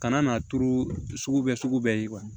Kana n'a turu sugu bɛɛ sugu bɛɛ ye